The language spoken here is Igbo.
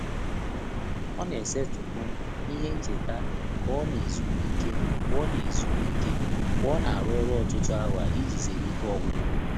Ọ́ nà-ésétị́pụ̀ ìhè nchéta kà ọ́ nà-ézùmíké mgbè ọ́ nà-ézùmíké mgbè ọ́ nà-árụ́ ọ́rụ́ ọ́tụ́tụ́ áwà ìjí zéré íké ọ́gwụ́gwụ́.